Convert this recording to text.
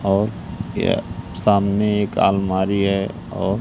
और यह सामने एक अलमारी है और--